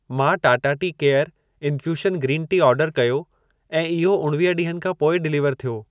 मां Tata tea care infusion green tea order कयो ऐं इहो उणवीह ॾींहनि खां पोइ डिलीवर थियो।